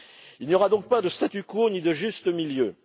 Il n'y aura donc pas de statu quo, ni de juste milieu.